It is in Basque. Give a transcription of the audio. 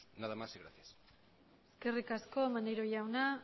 nada más y muchas gracias eskerrik asko maneiro jauna